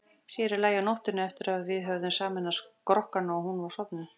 Sér í lagi á nóttunni, eftir að við höfðum sameinað skrokkana og hún var sofnuð.